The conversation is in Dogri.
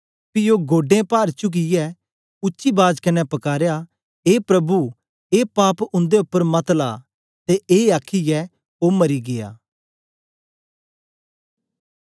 पी ओ गोडें पार चुकियै उच्ची बाज कन्ने पकारया ए प्रभु ए पाप उंदे उपर मत ला ते ए आखीयै ओ मरी गीया